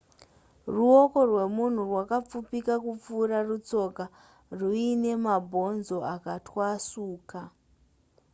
ruoko rwemunhu rwakapfupika kupfuura rutsoka ruine mabhonzo akatwasuka